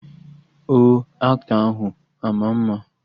Ọ aktọ ahụ ama ama?